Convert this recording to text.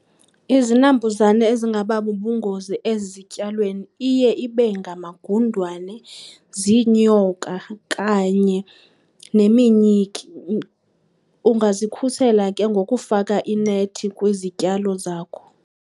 Izinambuzane ezingaba bubungozi ezityalweni iye ibe ngamagundwane, ziinyoka kanye neminyiki. Ungazikhusela ke ngokufaka inethi kwizityalo zakho.